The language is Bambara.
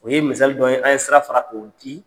O ye misali dɔ ye an ye sira fara k'o di.